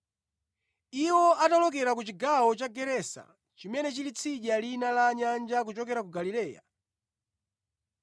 Iwo anawolokera ku chigawo cha Gerasa chimene chili tsidya lina la nyanja kuchokera ku Galileya.